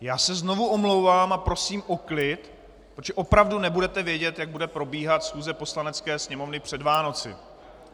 Já se znovu omlouvám a prosím o klid, protože opravdu nebudete vědět, jak bude probíhat schůze Poslanecké sněmovny před Vánoci.